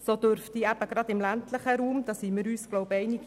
So dürften gerade im ländlichen Raum erschwerte Bedingungen vorliegen.